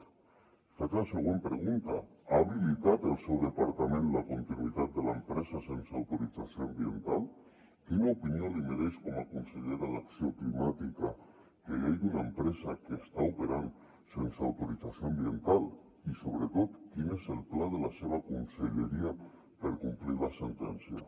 li faig la següent pregunta ha habilitat el seu departament la continuïtat de l’empresa sense autorització ambiental quina opinió li mereix com a consellera d’acció climàtica que hi hagi una empresa que està operant sense autorització ambiental i sobretot quin és el pla de la seva conselleria per complir la sentència